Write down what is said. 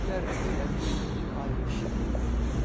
Əriklər belə bil, ay işığı idi.